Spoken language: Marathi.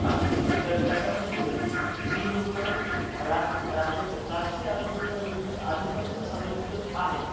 हा. तर त्याच्यामध्ये जी लोकं राज्यातील राष्ट्रीय आरोग्य विमा योजनेत आधीपासून समाविष्ट आहेत